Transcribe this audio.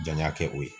Janya kɛ o ye